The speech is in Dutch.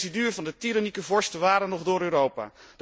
De residuen van de tirannieke vorsten waren nog door Europa.